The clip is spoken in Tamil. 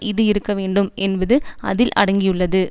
இது இருக்க வேண்டும் என்பது அதில் அடங்கியுள்ளது